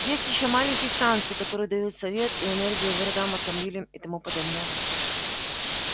есть ещё маленькие станции которые дают свет и энергию городам автомобилям и тому подобное